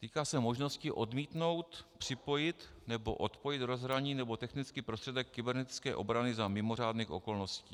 Týká se možnosti odmítnout připojit nebo odpojit rozhraní nebo technický prostředek kybernetické obrany za mimořádných okolností.